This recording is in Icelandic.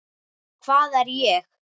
Hvað er ég?